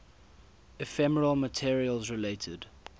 ephemeral materials related